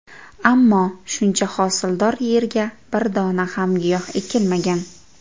Ammo, shuncha hosildor yerga bir dona ham giyoh ekilmagan.